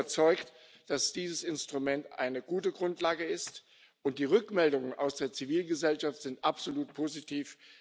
Ich bin überzeugt, dass dieses Instrument eine gute Grundlage ist, und die Rückmeldungen aus der Zivilgesellschaft sind absolut positiv.